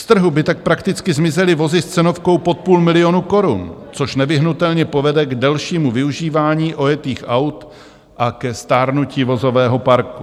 Z trhu by tak prakticky zmizely vozy s cenovkou pod půl milionu korun, což nevyhnutelně povede k delšímu využívání ojetých aut a ke stárnutí vozového parku.